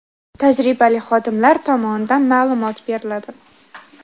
tajribali xodimlar tomonidan ma’lumot beriladi.